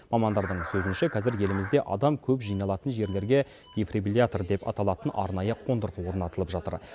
мамандардың сөзінше қазір елімізде адам көп жиналатын жерлерге дефибриллятор деп аталатын арнайы қондырғы орнатылып жатыр